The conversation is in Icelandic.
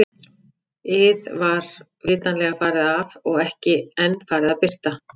ið var vitanlega farið af og ekki enn farið að birta.